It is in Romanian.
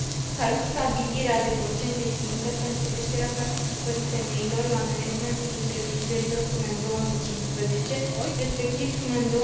Salut stabilirea de procente țintă pentru creșterea participării femeilor la managementul întreprinderilor până în 2015, respectiv până în